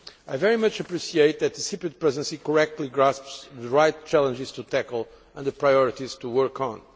I very much appreciate that the Cyprus Presidency correctly grasps the right challenges to tackle and the priorities to work on.